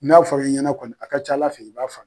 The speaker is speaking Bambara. N'a fɔri ɲɛna kɔni a ka cala fɛ i b'a faamu.